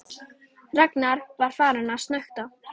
Ragnar var farinn að snökta.